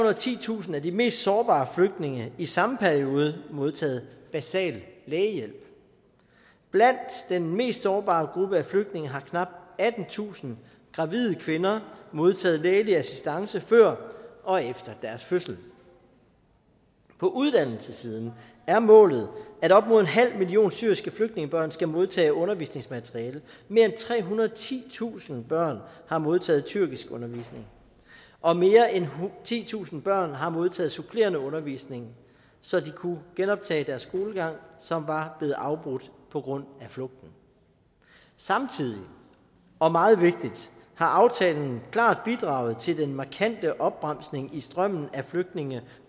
og titusind af de mest sårbare flygtninge i samme periode modtaget basal lægehjælp blandt den mest sårbare gruppe af flygtninge har knap attentusind gravide kvinder modtaget lægelig assistance før og efter deres fødsel på uddannelsessiden er målet at op imod en halv million syriske flygtningebørn skal modtage undervisningsmateriale mere end trehundrede og titusind børn har modtaget tyrkiskundervisning og mere end titusind børn har modtaget supplerende undervisning så de kunne genoptage deres skolegang som var blevet afbrudt på grund af flugten samtidig og meget vigtigt har aftalen klart bidraget til den markante opbremsning i strømmen af flygtninge